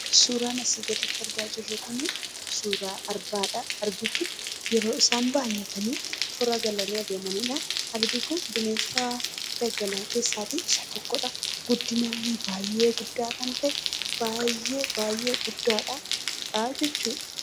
Suuraan asii gaditti argaa jirru kun suuraa arbaadha. Arbi kun yeroo isaan baay'atanii toora galanii adeemaniidha. Arbi kun bineensa daggalaa keessaa isa tokkodha. Guddinaan illee baay'ee guddaa kan ta'e, baay'ee baay'ee guddaadha jechuudha.